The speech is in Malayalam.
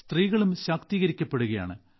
സ്ത്രീകളും ശാക്തീകരിക്കപ്പെടുകയാണ്